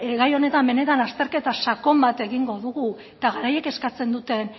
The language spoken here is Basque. gai honetan benetan azterketa sakon bat egingo dugu eta garaiek eskatzen duten